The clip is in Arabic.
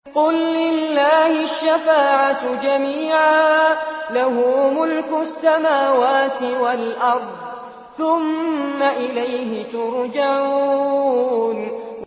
قُل لِّلَّهِ الشَّفَاعَةُ جَمِيعًا ۖ لَّهُ مُلْكُ السَّمَاوَاتِ وَالْأَرْضِ ۖ ثُمَّ إِلَيْهِ تُرْجَعُونَ